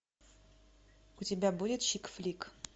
у тебя будет чик флик